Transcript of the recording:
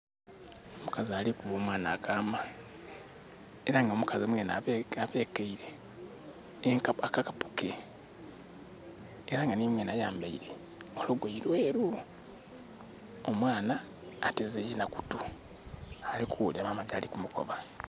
Omukazi ali kuba omwana akaama, era nga omukazi mwenhe abekeile, enkapu, akakapu ke. Era nga nhimwenhe ayambaile olugoye lweeru. Omwana ateze yenha kutu, ali kughulira mama kyali mukoba.